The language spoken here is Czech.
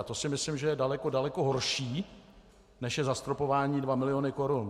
A to si myslím, že je daleko, daleko horší, než je zastropování 2 miliony korun.